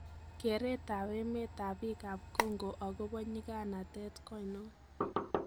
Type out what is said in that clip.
Kereet ab emet ab biik ab Congo agobo nyiganatet kwoinon?